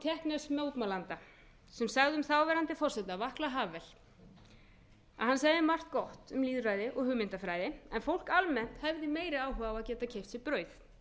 sagði um þáverandi forseta alla havel hann segir margt gott um lýðræði og hugmyndafræði en fólk almennt hefði meiri áhuga á að geta keypt sér brauð